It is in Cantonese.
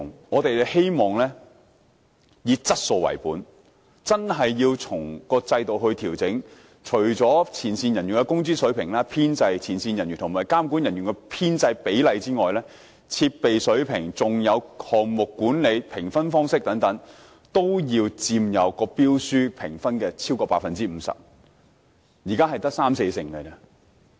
我們希望以"質素為本"，在評分制度作出調整，除了前線人員的工資水平、前線人員的編制、前線人員與監管人員編制的比例外，設備水平、項目管理和評分方式等，須佔標書評分不少於 50%， 但現時只佔三四成。